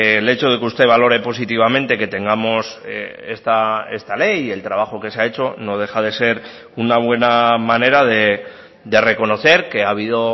el hecho de que usted valore positivamente que tengamos esta ley y el trabajo que se ha hecho no deja de ser una buena manera de reconocer que ha habido